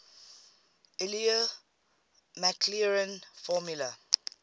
euler maclaurin formula